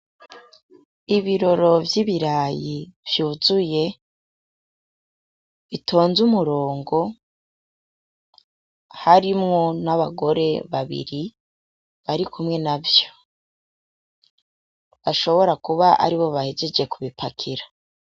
Ibiroro vy'ibirayi vyuzuye; bitonze umurongo; harimwo n'abagore babiri; barikumwe navyo; bashobora kuba aribo bahejeje kubipakira.